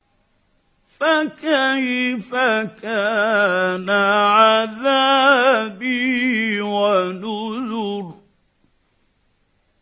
فَكَيْفَ كَانَ عَذَابِي وَنُذُرِ